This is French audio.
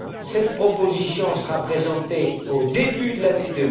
Cette proposition sera présentée au début de l'année